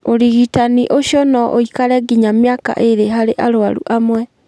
Ũrigitani ũcio no ũikare nginya mĩaka ĩĩrĩ harĩ arũaru amwe.